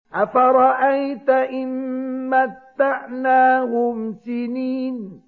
أَفَرَأَيْتَ إِن مَّتَّعْنَاهُمْ سِنِينَ